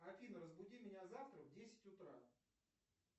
афина разбуди меня завтра в десять утра